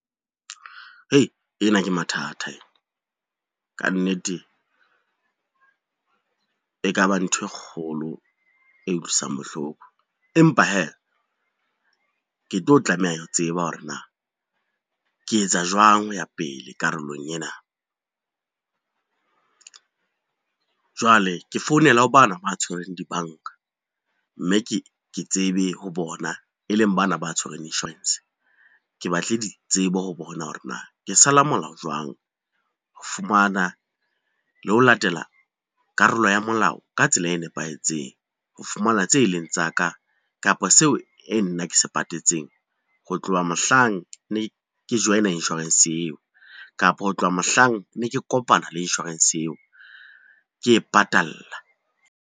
Hei ena ke mathata ena, ka nnete e ka ba ntho e kgolo e utlwisang bohloko, empa hee ke tlo tlameha ho tseba hore na ke etsa jwang ho ya pele karolong ena. Jwale ke founela ho bana ba tshwereng dibanka, mme ke tsebe ho bona e leng bana ba tshwerweng insurance, ke batle di tsebo ho bona hore na ke sala molao jwang. Ho fumana le ho latela karolo ya molao ka tsela e nepahetseng ho fumana tse leng tsa ka, kapa seo e nna ke se patetseng ho tloha mohlang ne ke join a insurance eo kapa ho tloha mohlang ne ke kopana le insurance eo ke e patalla.